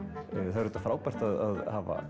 það er auðvitað frábært að hafa